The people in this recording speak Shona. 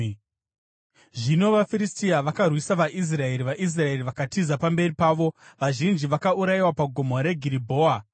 Zvino vaFiristia vakarwisa vaIsraeri; vaIsraeri vakatiza pamberi pavo, vazhinji vakaurayiwa paGomo reGiribhoa.